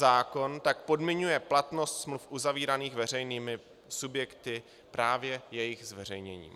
Zákon tak podmiňuje platnost smluv uzavíraných veřejnými subjekty právě jejich zveřejněním.